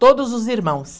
Todos os irmãos.